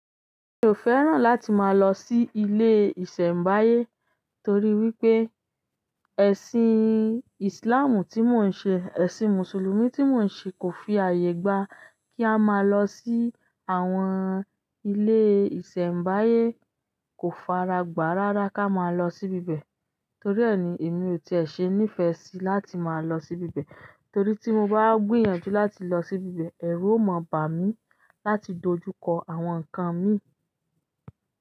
Mi ò fẹ́ràn láti máa lọ sí ilé ìṣẹ̀mbáyé torí wípé ẹ̀sìn Islamù tí mò ń ṣe, ẹ̀sìn Mùsùlùmí tí mò ń ṣe kò fi ààyè gba kí a máa lọ sí àwọn ilé ìṣẹ̀mbáyé. Kò faragbà rárá kí a máa lọ sí ibẹ̀. Torí e ni emi ose nife si láti ma lo si ibi ibe. Torí tí mo bá gbìyànjú láti lọ sí ibẹ̀, ẹ̀rù ó mọ̀ bà mí láti dojúkọ àwọn nǹkan mi.